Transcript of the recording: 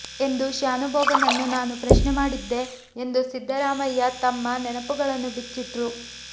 ಎಂದು ಶ್ಯಾನುಭೋಗನನ್ನು ನಾನು ಪ್ರಶ್ನೆ ಮಾಡಿದ್ದೆ ಎಂದು ಸಿದ್ದರಾಮಯ್ಯ ತಮ್ಮ ನೆನಪುಗಳನ್ನು ಬಿಚ್ಚಿಟ್ರು